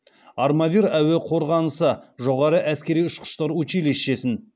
армавир әуе қорғанысы жоғары әскери ұшқыштар училищесін